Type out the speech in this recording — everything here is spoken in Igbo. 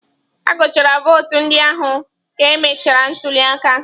Agụchara votu ndị ahụ ka emechara ntuli aka.